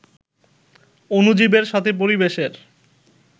অণুজীবের সাথে পরিবেশের